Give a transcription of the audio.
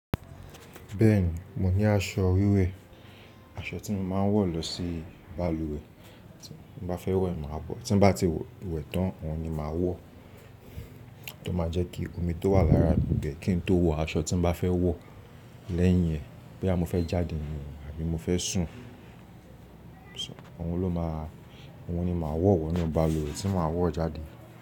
Bẹ́ẹ̀ni, mo ní aṣọ wíwẹ̀, aṣọ tí mo máa ń wọ̀ lọ sí balùwẹ̀, tí mo bá fẹ́ wẹ̀ máa bọ̀, tí bá ti wẹ̀ tán, òun ni màá wọ̀, tó máa jẹ́ kí omi tó wà lára gbẹ̀ kí n tó wọ aṣọ tí mo bá fẹ́ wọ̀ lẹ́yìn ẹ̀, boyà mo fẹ́ jáde nù àbí mo fẹ́ sùn. Ṣó, òun ló máa, òun ni màá wọ̀ wọ inu balùwẹ̀ tí màá wọ̀ jáde.